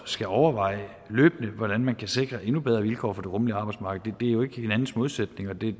skal overveje hvordan man kan sikre en bedre vilkår på det rummelige arbejdsmarked det er jo ikke hinandens modsætninger det er